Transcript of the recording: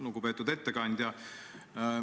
Lugupeetud ettekandja!